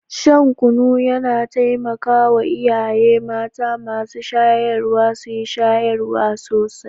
Shan kunu yana taimaka wa iyaye mata masu shayarwa su yi shayarwa sosai.